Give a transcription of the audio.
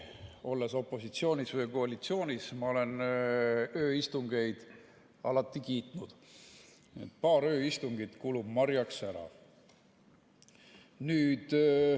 Olles opositsioonis või koalitsioonis, olen ma ööistungeid alati kiitnud, paar ööistungit kulub marjaks ära.